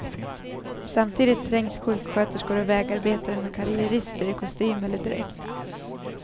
Samtidigt trängs sjuksköterskor och vägarbetare med karriärister i kostym eller dräkt.